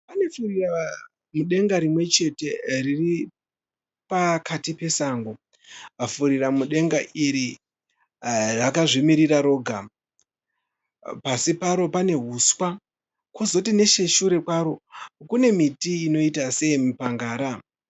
Pane furiramudenga rimwechete riri pakati pesango. Furiramudenga iri rakazvimirira roga. Pasi paro pane huswa kwozoti necheshure kwaro kune miti inoita seyemipangara.